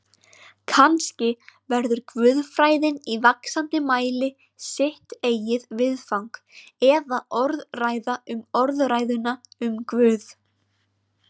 Kannski verður guðfræðin í vaxandi mæli sitt eigið viðfang eða orðræða um orðræðuna um Guð.